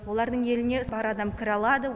олардың еліне бар адам кіре алады